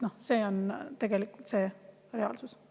See on reaalsus.